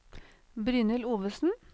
Brynhild Ovesen